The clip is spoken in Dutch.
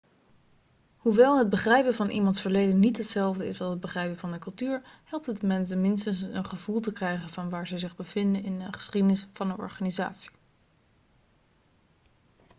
hoewel het begrijpen van iemands verleden niet hetzelfde is als het begrijpen van de cultuur helpt het mensen minstens een gevoel te krijgen van waar ze zich bevinden in de geschiedenis van de organisatie